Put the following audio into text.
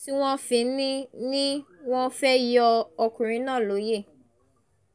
tí wọ́n fi ní ní wọ́n fẹ́ẹ́ yọ ọkùnrin náà lóye